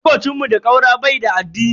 Makocin mu da ƙaura bai da addini.